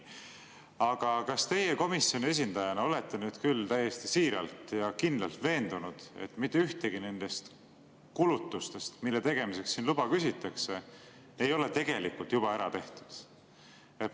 Aga kas teie komisjoni esindajana olete nüüd küll täiesti siiralt ja kindlalt veendunud, et mitte ühtegi nendest kulutustest, mille tegemiseks siin luba küsitakse, ei ole tegelikult juba ära tehtud?